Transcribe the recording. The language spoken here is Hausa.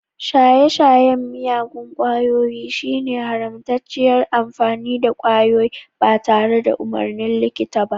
Shaye-shayen miyagun kwayoyi shine haramtacciyar amfani da kwayoyi ba tare da umarnin likita ba.